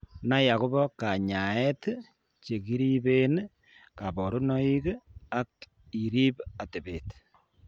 Nai akobo kanyaeet chekiribeen kaborunoik ak iriib atebet